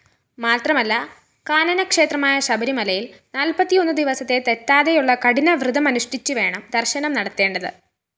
മാത്രമല്ല കാനനക്ഷേത്രമായ ശബരിമലയില്‍ നാല്‍പ്പത്തിയൊന്നുദിവസത്തെ തെറ്റാതെയുള്ള കഠിനവ്രതമനുഷ്ഠിച്ചുവേണം ദര്‍ശനം നടത്തേണ്ടത്